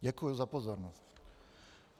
Děkuji za pozornost.